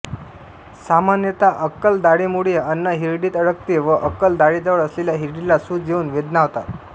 सामान्यतः अक्कल दाढेमुळे अन्न हिरडीत अडकते व अक्कल दाढेजवळ असलेल्या हिरडीला सूज येऊन वेदना होतात